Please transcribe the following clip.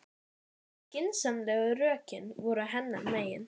Svipir mikilmenna voru á sveimi undir háloftum fyrirlestrarsalanna.